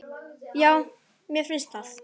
Já, mér finnst það.